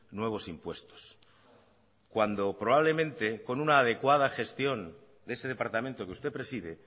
nuevos impuestos cuando probablemente con una adecuada gestión de ese departamento que usted preside